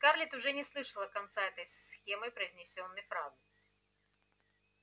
скарлетт уже не слышала конца этой схемой произнесённой фразы